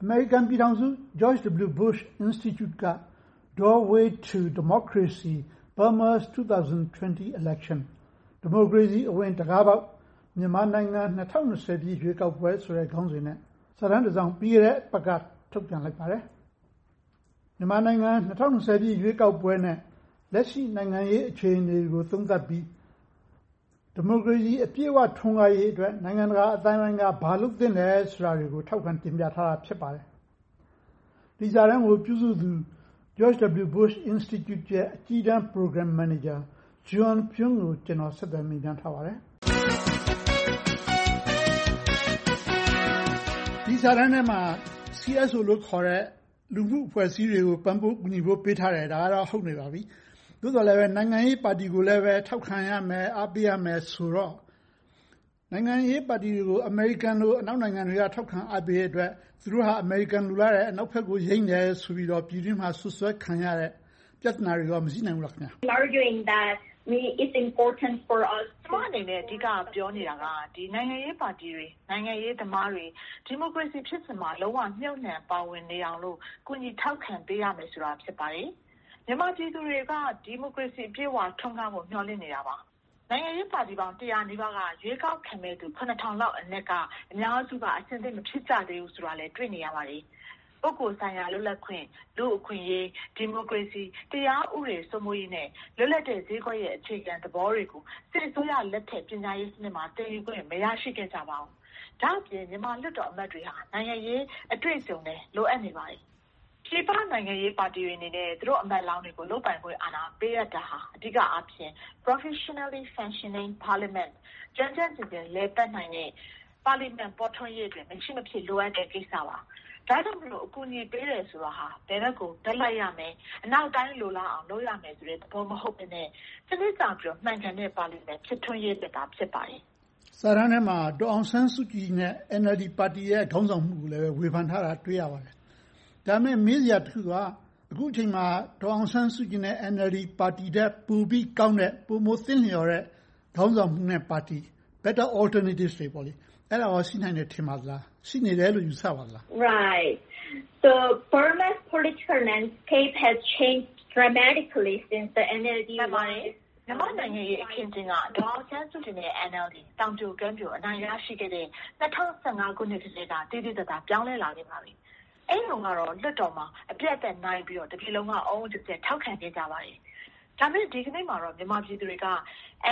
အမေရိကန်ပြည်ထောင်စု George W. Bush Institute က “Doorway to Democracy: Burma ‘s 2020 Election – ဒီမိုကရေစီအဝင် တံခါးပေါက်၊ မြန်မာနိုင်ငံ ၂၀၂၀ ရွေးကောက်ပွဲ” ဆိုတဲ့ခေါင်းစဉ်နဲ့ စာတမ်းတစ်စောင်ကို ပြီးခဲ့တဲ့အပတ်က ထုတ်ပြန်လိုက်ပါတယ်။ မြန်မာနိုင်ငံ ၂၀၂၀ ရွေးကောက်ပွဲနဲ့ လက်ရှိနိုင်ငံရေး အခြေအနေတွေကို သုံးသပ်ပြီး ဒီမိုကရေစီအပြည့်အဝ ထွန်းကားရေးအတွက် နိုင်ငံတကာအသိုင်းအဝိုင်းက ဘာလုပ်သင့်သလဲဆိုတာတွေကို ထောက်ခံတင်ပြထားတာ ဖြစ်ပါတယ်။ ဒီစာတမ်းကို ပြုစုသူ George W. Bush Institute ရဲ့ အကြီးတန်းမန်နေဂျာ Jieun Pyun ကို ဦးကျော်ဇံသာက ဆက်သွယ်မေးမြန်းထားပါတယ်။ ဒီစာတမ်းထဲမှာ CSO လို့ခေါ်တဲ့ လူမှုအဖွဲ့အစည်းတွေကို ပံ့ပိုးကူညီဖို့ပေးထားတယ်။ ဒါကတော့ ဟုတ်နေပါပြီ။ သို့သော်လဲ နိုင်ငံရေးပါတီကိုလည်း ထောက်ခံရမယ်၊ အားပေးရမယ်ဆိုတော့ နိုင်ငံရေးပါတီတွေကို အမေရိကန်လို အနောက်နိုင်ငံတွေက ထောက်ခံအားပေးတဲ့အတွက် သူတို့က အမေရိကန် လိုလားတယ်။ အနောက်ဘက်ယိမ်းတယ်ဆိုပြီးတော့ ပြည်တွင်းမှာ စွပ်စွဲခံရတဲ့ ပြဿတွေ မရှိနိုင်ဘူးလား။ ကျမအနေနဲ့ အဓိကပြောနေတာက နိုင်ငံရေးပါတီတွေ၊ နိုင်ငံရေးသမားတွေ ဒီမိုကရေစီဖြစ်စဉ်မှာ လုံးဝမြုပ်နံှပါဝင်နေအောင်လို့ ကူညီထောက်ခံပေးရမယ်ဆိုတာ ဖြစ်ပါတယ်။ မြန်မာပြည်သူတွေက ဒီမိုကရေစီအပြည့်အဝ ထွန်းကားဖို့ မျှော်လင့်နေတာပါ။ နိုင်ငံရေးပါတီ တစ်ရာနီးပါးက ရွေးကောက်ခံမယ့် ၇၀၀၀ လောက်အနက်က အများစုက အဆင်သင့်မဖြစ်ကြသေးဘူးဆိုတာလဲ တွေ့နေရပါတယ်။ ပုဂ္ဂိုလ်ဆိုင်ရာ လွတ်လပ်ခွင့်၊ လူ့အခွင့်အရေး၊ ဒီမိုကရေစီ၊ တရားဥပဒေ စိုးမိုးရေးနဲ့ လွတ်လပ်တဲ့ဈေးကွက်ရဲ့ အခြေခံသဘောတွေကို စစ်အစိုးရလက်ထက် ပညာရေးစနစ်မှာ သင်ယူခွင့် မရရှိခဲ့ကြပါဘူး။ ဒါ့အပြင် မြန်မာလွတ်တော်အမတ်တွေဟာ နိုင်ငံရေးအတွေ့အကြုံလည်း လိုအပ်နေပါတယ်။ နိုင်ငံရေးအဖွဲ့တွေအနေနဲ့ သူတို့အမတ်လောင်းတွေကို လုပ်ပိုင်ခွင့်အာဏာ ပေးအပ်တာဟာ အဓိကအားဖြင့် Professionally functioning Parliament ကျွမ်းကျွမ်းကျင်ကျင် လည်ပတ်နိုင်တဲ့ ပါလီမန်ဖော်ထွန်းရေးမှာ မရှိမဖြစ် လိုအပ်တဲ့ကိစ္စပါ။ ဒါကြောင့်မို့ အကူအညီပေးတယ်ဆိုတာ ဘယ်ဘက်ကို ဘက်လိုက်ရမယ်။ အနောက်တိုင်း လိုလားအောင် လုပ်ရမယ်ဆိုတဲ့ သဘောမဟုတ်ဘဲနဲ့ စနစ်ကျပြီးတော့ မှန်ကန်တဲ့ ပါလီမန် ဖြစ်ထွန်းရေးအတွက်သာ ဖြစ်ပါတယ်။ စာတမ်းထဲမှာ ဒေါ်အောင်ဆန်းစုကြည်နဲ့ NLD ပါတီရဲ့ ခေါင်းဆောင်မှုကိုလည်း ဝေဖန်ထားတာ တွေ့ရပါတယ်။ ဒါပေမဲ့ မေးစရာတစ်ခုက အခုအချိန်မှာ ဒေါ်အောင်ဆန်းစုကြည်နဲ့ NLD ပါတီထက် ပိုပြီးကောင်းတဲ့၊ ပိုမိုသင့်လျော်တဲ့ ခေါင်းဆောင်မှုနဲ့ပါတီ Better alternatives တွေ အဲဒါကော ရှိနိုင်ပါသလား။ ရှိနေတယ်လို့ ယူဆပါသလား။ မှန်ပါတယ်။ မြန်မာ့နိုင်ငံရေး အခင်းအကျင်းက ဒေါ်အောင်ဆန်းစုကြည်နဲ့ NLD သောင်ပြိုကမ်းပြို အနိုင်ရရှိခဲ့တဲ့ ၂၀၁၅ ခုနှစ်ကတည်းက သိသိသာသာ ပြောင်းလဲခဲ့ပါပြီ။ အဲဒီတုန်းကတော့ လွတ်တော်မှာ အပြတ်အသတ်အနိုင်ရပြီးတော့ တပြည်လုံး အုံးအုံးကျက်ကျက် ထောက်ခံခဲ့ကြပါတယ်။ ဒါပေမဲ့ ဒီကနေ့မှာတော့ မြန်မာပြည်သူတွေက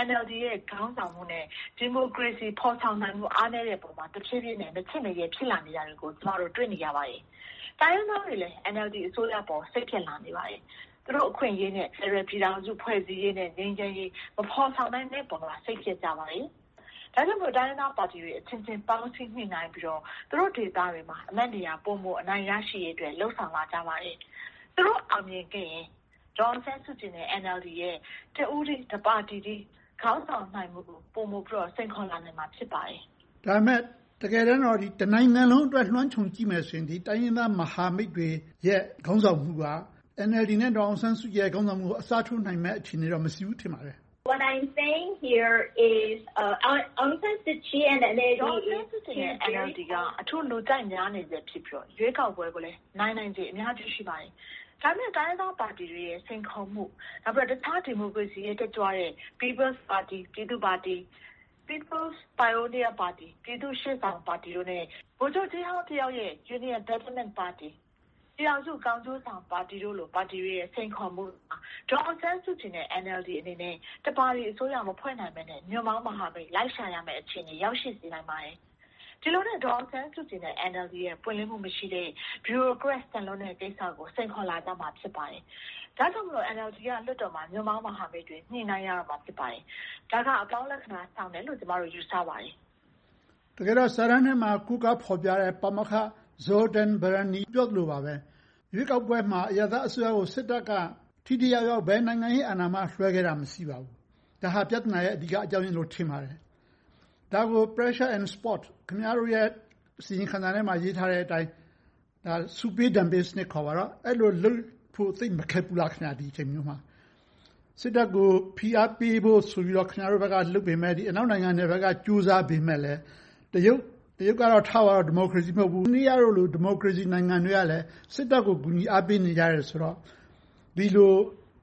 NLD ရဲ့ ခေါင်းဆောင်မှုနဲ့ ဒီမိုကရေစီ ဖော်ဆောင်နိုင်မှု အားနည်းတဲ့ပေါ်မှာ တဖြည်းဖြည်းနဲ့ မချင့်မရဲ ဖြစ်နေခဲ့တာကို ကျမတို့ တွေ့နေရပါတယ်။ တိုင်းရင်းသားတွေလည်း NLD အစိုးရအပေါ် စိတ်ပျက်လာနေခဲ့ပါတယ်။ သူတို့အခွင့်အရေးနဲ့ ဖယ်ဒရယ်ပြည်ထောင်စု ဖွဲ့စည်းရေးနဲ့ ငြိမ်းချမ်းရေး မဖော်ဆောင်နိုင်တဲ့အပေါ်မှာ စိတ်ပျက်ကြပါတယ်။ ဒါကြောင့်မို့ တိုင်းရင်းသားပါတီတွေအချင်းချင်း ပေါင်းစည်းညှိနှိုင်းပြီးတော့ သူတို့ဒေသတွေမှာ အမတ်နေရာ ပိုမိုရရှိရေးအတွက် လုပ်ဆောင်လာကြပါတယ်။ သူတို့အောင်မြင်ခဲ့ရင် ဒေါ်အောင်ဆန်းစုကြည်နဲ့ NLD ရဲ့ တစ်ဦးတည်း၊ တစ်ပါတီကြီး ခေါင်းဆောင်နိုင်မှုကို ပိုမိုပြီးတော့ စိန်ခေါ်လာနိုင်မှာ ဖြစ်ပါတယ်။ ဒါပေမဲ့ တကယ်တမ်းတော့ တစ်နိုင်ငံလုံးအတွက် လွှမ်းခြုံကြည့်မယ်ဆိုရင် တိုင်းရင်းသားမဟာမိတ်တွေရဲ့ ခေါင်းဆောင်မှုက NLD နဲ့ ဒေါ်အောင်ဆန်းစုကြည်တို့ကို အစားထိုးနိုင်မယ့် အခြေအနေတော့ မရှိဘူး ထင်ပါတယ်။ ဒေါ်အောင်ဆန်းစုကြည်နဲ့ NLD က အထူးလူကြိုက်များနေပြီး ရွေးကောက်ပွဲကိုလည်း နိုင်နိုင်ချေ အများကြီး ရှိပါတယ်။ ဒါပေမဲ့ တိုင်းရင်းသားပါတီတွေရဲ့ စိန်ခေါ်မှု၊ အခြားဒီမိုကရေစီ တက်ကြွတဲ့ ပြည်သူ့ပါတီ၊ ပြည်သူ့ရှေ့ဆောင်ပါတီ၊ ပြည်ထောင်စုကောင်းကျိုးဆောင်ပါတီတို့လို ပါတီတွေရဲ့ စိန်ခေါ်မှုမှာ ဒေါ်အောင်ဆန်းစုကြည်နဲ့ NLD အနေနဲ့ တစ်ပါတီအစိုးရ မဖွဲ့နိုင်ပဲနဲ့ ညွှန့်ပေါင်းမဟာမိတ် လက်ခံရမယ့် အခြေအနေ ရောက်ရှိစေနိုင်ပါတယ်။ ဒီလိုနဲ့ ဒေါ်အောင်ဆန်းစုကြည်နဲ့ NLD တို့ရဲ့ ပွင့်လင်းမှုမရှိတဲ့ ဗျူရိုကရက်ဆန်လွန်တဲ့ ကိစ္စတွေကို စိန်ခေါ်လာကြမှာ ဖြစ်ပါတယ်။ ဒါကြောင့်မို့ NLD က လွှတ်တော်မှာ ညွှန့်ပေါင်းမဟာမိတ်တွေ ညှိနှိုင်းကြရမှာ ဖြစ်ပါတယ်။ ဒါက အပေါင်းလက္ခဏာဆောင်တယ်လို့ ကျမတို့ ယူဆကြပါတယ်။ တကယ်တော့ စာတမ်းထဲမှာ ကိုးကားဖော်ပြခဲ့တဲ့ ပါမောက္ခ Zoltan Barany ပြောသလိုပါပဲ ရွေးကောက်ပွဲမှာ အရပ်သားအစိုးရကို စစ်တပ်က ထိထိရောက်ရောက် ဘယ်နိုင်ငံရေးအာဏာမှ လွဲပေးခဲ့တာ မရှိပါဘူး။ ဒါက ပြဿနာရဲ့ အဓိကအကြောင်းရင်းလို့ ထင်ပါတယ်။ ဒါကို Pressure and Support ခင်များတို့ရဲ့ အစီရင်ခံစာထဲမှာ ရေးထားတဲ့အတိုင်း ဆုပေးဒဏ်ပေးစနစ် ခေါ်ပါတော့ အဲဒီလိုလုပ်ဖို့ သိပ်မခက်ဘူးလား ဒီအချိန်မျိုးမှာ - စစ်တပ်ကို ဖိအားပေးဖို့ဆိုပြီးတော့ ခင်များတို့ဘက်က လုပ်ပေမယ့်၊ အနောက်နိုင်ငံတွေက ကြိုးစားပေမယ့်လဲ တရုတ်ကတော့ ထားပါတော့ ဒီမိုကရေစီ မဟုတ်ဘူး။ အိန္ဒိယတို့လို ဒီမိုကရေစီနိုင်ငံတွေကလဲ စစ်တပ်ကို ကူညီအားပေးနေကြတယ်ဆိုတော့ ဒီလို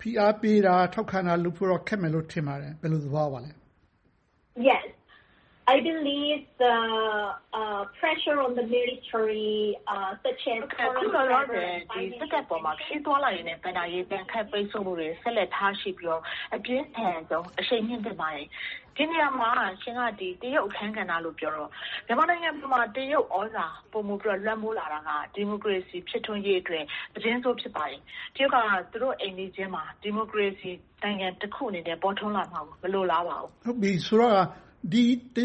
ဖိအားပေးတာ၊ ထောက်ခံတာလုပ်ဖို့တော့ ခက်မယ်လို့ ထင်ပါတယ်။ ဘယ်လိုသဘောရပါလဲ။ အခုလောလောဆယ် စစ်တပ်ပေါ် ခရီးသွားလာရေးနဲ့ ဘဏ္ဍာရေး ဒဏ်ခတ်ပိတ်စို့မှုတွေ ထားရှိပြီးတော့ အပြင်းထန်ဆုံး အရှိန်မြှင့်သင့်ပါတယ်။ ဒီနေရာမှာ ရှင်က တရုတ်အခန်းကဏ္ဍလို့ ပြောလို့ မြန်မာနိုင်ငံမှာ တရုတ်သြဇာ ပိုမိုပြီးတော့ လွှမ်းမိုးလာတာဟာ ဒီမိုကရေစီ ဖြစ်ထွန်းရေးအတွက် သတင်းဆိုး ဖြစ်ပါတယ်။ တရုတ်က သူတို့အိမ်နီးချင်းမှာ ဒီမိုကရေစီနိုင်ငံ တစ်ခုအနေနဲ့ ပေါ်ထွန်းလာမှာကို မလိုလားပါဘူး။ ဆိုတော့ တ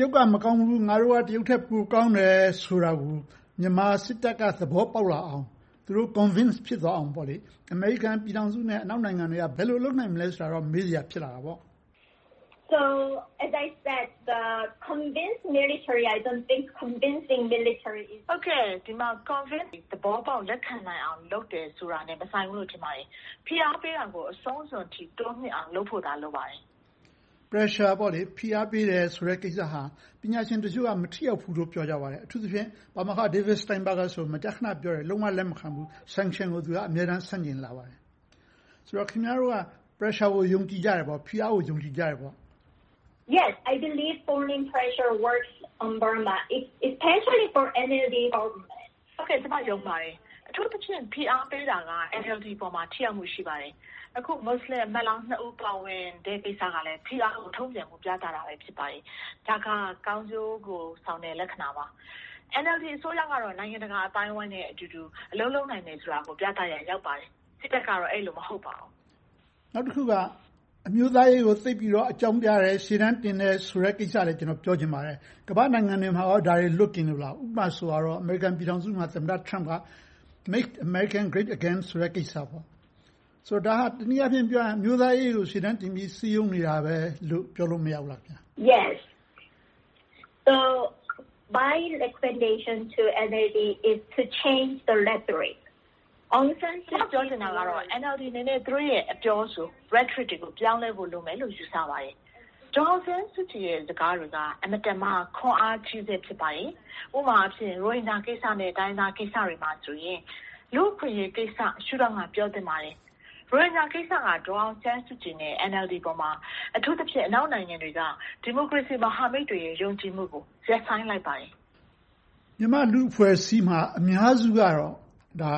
ရုတ်က မကောင်းဘူး။ ငါတို့က တရုတ်ထက် ပိုကောင်းတယ်ဆိုတာကို မြန်မာစစ်တပ်က သဘောပေါက်လာအောင် သူတို့ Convince ဖြစ်သွားအောင် အမေရိကန်ပြည်ထောင်စုနဲ့ အနောက်နိုင်ငံတွေက ဘယ်လိုလုပ်နိုင်မလဲဆိုတာကို မေးစရာ ဖြစ်လာတာပေါ့။ ဒီနေရာမှာ Convince သဘောပေါက် လက်ခံနိုင်အောင် လုပ်တယ်ဆိုတာနဲ့ မဆိုင်ဘူးလို့ ထင်ပါတယ်။ ဖိအားပေးတာကို အဆုံးစွန်အထိ တိုးမြင့်အောင် လုပ်ဖို့သာ လိုပါတယ်။ Pressure ဖိအားပေးတယ်ဆိုတဲ့ ကိစ္စဟာ ပညာရှင်တချို့က မထိရောက်ဘူးလို့ ပြောကြပါတယ်။ အထူးသဖြင့် ပါမောက္ခ David Steinberg ကဆိုရင် မကြာခဏ ပြောတယ်။ လုံးဝလက်မခံဘူး။ Sanction ကို သူက အမြဲတမ်း ဆန့်ကျင်လာပါတယ်။ ဆိုတော့ ခင်များတို့က Pressure ကို ယုံကြည်ကြတယ်ပေါ့။ ဖိအားကို ယုံကြည်ကြတယ်ပေါ့။ ကျမ ယုံပါတယ်။ အထူးသဖြင့် ဖိအားပေးတာက NLD ပေါ်မှာ ထိရောက်မှု ရှိပါတယ်။ အခု မူစလင်အမတ်လောင်းနှစ်ဦး ပါဝင်တဲ့ကိစ္စကလဲ ဖိအားကို တုံ့ပြန်တာကို ပြသတာ ဖြစ်ပါတယ်။ ဒါက ကောင်းကျိုးကိုဆောင်တဲ့ လက္ခဏာပါ။ NLD အစိုးရကတော့ နိုင်ငံတကာအသိုင်းအဝိုင်းနဲ့အတူတူ အလုပ်လုပ်နိုင်တယ်ဆိုတာကို ပြသရာ ရောက်ပါတယ်။ စစ်တပ်ကတော့ အဲဒီလို မဟုတ်ပါဘူး။ နောက်တစ်ခုက အမျိုးသားရေးကို သိပ်ပြီးအကြောင်းပြတယ်။ ရှေ့တန်းတင်တယ်ဆိုတဲ့ ကိစ္စလည်း ကျနော် ပြောချင်ပါတယ်။ ကမ္ဘာ့နိုင်ငံတွေမှာ ဒါတွေလွတ်ကင်းလို့လား။ ဥပမာဆိုပါစို့ အမေရိကန်ပြည်ထောင်စုမှာ သမ္မတ Trump က Make America Great Again ဆိုတဲ့ ကိစ္စ ဆိုပါတော့ ဒါက တနည်းအားဖြင့် ပြောရမယ်ဆိုရင် Trump က အမျိုးသားရေးကို ရှေ့တန်းတင်ပြီးတော့ စည်းရုံးနေတာပဲလို့ ပြောလို့မရဘူးလား။ ကျမ ပြောချင်တာကတော့ NLD အနေနဲ့ သူတို့ရဲ့ အပြောအဆို Rhetoric တွေကို ပြောင်းလဲဖို့ လိုမယ်လို့ ယူဆပါတယ်။ ဒေါ်အောင်ဆန်းစုကြည်ရဲ့ စကားတွေက အင်မတန်မှ ခွန်အားကြီးဆဲ ဖြစ်ပါတယ်။ ဥပမာအားဖြင့် ရိုဟင်ဂျာကိစ္စနဲ့ တိုင်းရင်းသားကိစ္စတွေမှာဆိုရင် လူ့အခွင့်အရေးကိစ္စ၊ ရှုထောင့်ကနေ ပြောဆိုသင့်ပါတယ်။ ရိုဟင်ဂျာကိစ္စက ဒေါ်အောင်ဆန်းစုကြည်နဲ့ NLD ပေါ်မှာ အထူးသဖြင့် အနောက်နိုင်ငံတွေက ဒီမိုကရေစီမဟာမိတ်တွေရဲ့ ယုံကြည်မှုကို ရပ်ဆိုင်းလိုက်ပါတယ်။ မြန်မာ့လူ့အဖွဲ့အစည်းမှာ အများစုကတော့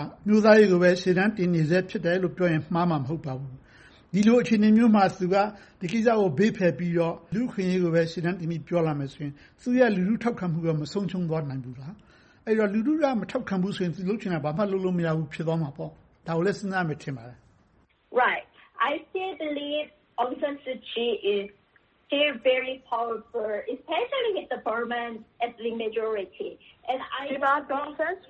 အမျိုးသားရေးကိုပဲ ရှေ့တန်းတင်နေဆဲလို့ပြောရင် မှားမှာမဟုတ်ပါဘူး။ ဒီလိုအခြေအနေမျိုးမှာ သူက ဒီကိစ္စကို ဘေးဖယ်ပြီးတော့ လူ့အခွင့်အရေးကို ရှေ့တန်းတင်ပြီးတော့ ပြောလာမယ်ဆိုရင် သူ့ရဲ့လူထုထောက်ခံမှု မဆုံးရှုံးသွားနိုင်ဘူးလား။ အဲဒီတော့ လူထုက မထောက်ခံဘူးဆိုရင် သူလုပ်ချင်တာ ဘာမှလုပ်မရဘူး ဖြစ်သွားမှာပေါ့။ ဒါကိုလဲ စဉ်းစားမယ် ထင်ပါတယ်။ ဒီမှာ ဒေါ်အောင်ဆန်းစုကြ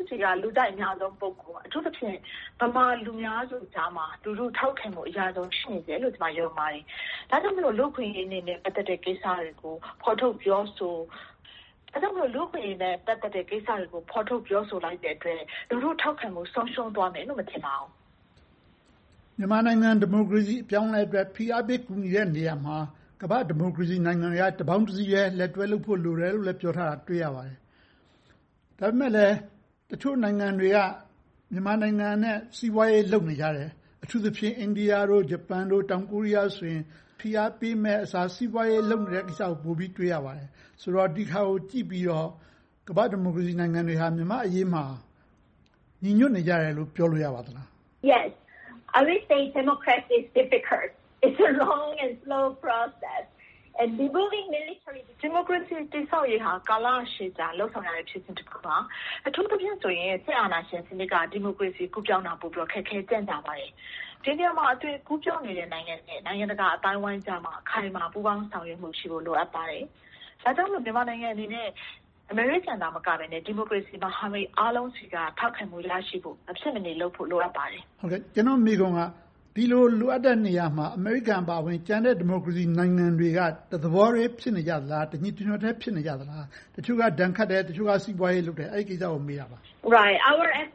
ည်က လူကြိုက်အများဆုံး ပုဂ္ဂိုလ်ပါ။ အထူးသဖြင့် ဗမာလူများစုကြားမှာ လူထုထောက်ခံမှု အရဆုံး ဖြစ်နေဆဲလို့ ကျမ ယုံပါတယ်။ ဒါကြောင့် လူ့အခွင့်အရေးနဲ့ ပတ်သက်တဲ့ကိစ္စတွေကို ဖော်ထုတ်ပြောကြားလိုက်တဲ့အတွက် လူထုထောက်ခံမှု ဆုံးရှုံးသွားမယ်လို့ မထင်ပါဘူး။ မြန်မာနိုင်ငံ ဒီမိုကရေစီ အပြောင်းအလဲအတွက် ဖိအားပေး ကူညီတဲ့နေရာမှာ ကမ္ဘာ့ဒီမိုကရေစီ နိုင်ငံတွေက တပေါင်းတစည်းထဲ လက်တွဲလုပ်ဖို့ လိုတယ်လို့လဲ ပြောထားတာ တွေ့ရပါတယ်။ ဒါပေမဲ့လဲ တချို့နိုင်ငံတွေက မြန်မာနိုင်ငံနဲ့ စီးပွားရေး လုပ်နေကြတယ်။ အထူးသဖြင့် အိန္ဒိယ၊ ဂျပန်၊ တောင်ကိုရီးယားတို့ဆိုရင် ဖိအားပေးမယ့်အစား စီးပွားရေးလုပ်နေတာကို ပိုပြီးတွေ့နေရပါတယ်။ ဆိုတော့ ဒီဟာကို ကြည့်ပြီးတော့ ကမ္ဘာ့ဒီမိုကရေစီနိုင်ငံတွေက မြန်မာ့အရေးမှာ ညီညွှတ်နေကြတယ်လို့ ပြောလို့ရပါသလား။ ဒီမိုကရေစီ တည်ဆောက်ရေးဟာ ကာလရှည်ကြာ လုပ်ဆောင်ရတဲ့ အစီအစဉ်တစ်ခုပါ။ အထူးသဖြင့်ဆိုရင် စစ်အာဏာရှင်စနစ်ကနေ ဒီမိုကရေစီ ကူးပြောင်းတာ ပိုမိုပြီး ခက်ခဲကြန့်ကြာပါတယ်။ ဒီနေရာမှာ အသွင်ကူးပြောင်းနေတဲ့ နိုင်ငံတွေနဲ့ နိုင်ငံတကာအသိုင်းအဝိုင်းကြားမှာ အခိုင်အမာ ပူးပေါင်းဆောင်ရွက်မှုတွေရှိဖို့ လိုအပ်ပါတယ်။ ဒါကြောင့်မို့ မြန်မာနိုင်ငံအနေနဲ့ အမေရိကန်သာမကဘဲနဲ့ ဒီမိုကရေစီ မဟာမိတ်အားလုံးဆီက ထောက်ခံမှုရရှိဖို့ မဖြစ်မနေလုပ်ဖို့ လိုအပ်ပါတယ်။ ကျနော့် မေးခွန်းက ဒီလိုလိုအပ်တဲ့နေရာမှာ အမေရိကန်အပါအဝင် ကျန်တဲ့ဒီမိုကရေစီနိုင်ငံတွေက တသဘောထဲ ဖြစ်နေကြလား။ တညီတညွှတ်တည်း ဖြစ်နေကြလား။ တချို့က ဒဏ်ခတ်တယ်။ တချို့က စီးပွားရေးလုပ်နေကြတယ်။ အဲဒီကိစ္စကို မေးတာပါ။ ဒီနေရာမှာဆို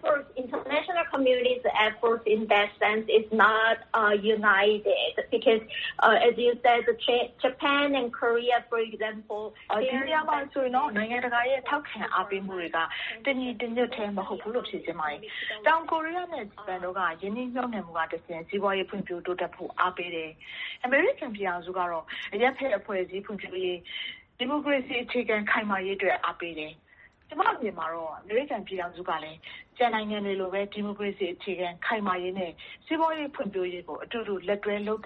ရင်တော့ နိုင်ငံတကာရဲ့ ထောက်ခံအားပေးမှုတွေက တညီတညွှတ်တည်း မဟုတ်ဘူးလို့ ဖြေကြားချင်ပါတယ်။ တောင်ကိုရီးယားနဲ့ ဂျပန်တို့က ရင်းနှီးမြုပ်နံှမှုကတဆင့် စီးပွားရေးဖွံ့ဖြိုးတိုးတက်ဖို့ အားပေးတယ်။ အမေရိကန်ပြည်ထောင်စုကတော့ အရပ်ဘက်အဖွဲ့အစည်း ဖွံ့ဖြိုးရေး၊ ဒီမိုကရေစီ အခြေခံခိုင်မာရေးအတွက် အားပေးတယ်။ ကျမအမြင်မှာတော့ အမေရိကန်ပြည်ထောင်စုကလဲ ကျန်နိုင်ငံတွေလိုပဲ ဒီမိုကရေစီ အခြေခံခိုင်မာရေးနဲ့ စီးပွားရေးဖွံ့ဖြိုးရေးကို အတူတူ လက်တွဲလုပ်